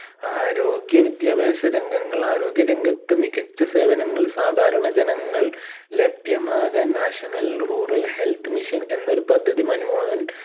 ആരോഗ്യ വിദ്യാഭാസ രംഗങ്ങൾ ആരോഗ്യ രംഗത്ത് മികച്ച സേവനങ്ങൾ സാധാരണ ജനങ്ങൾ ലഭ്യമാകാൻ national rural health mission എന്നൊരു പദ്ധതി മൻമോഹൻ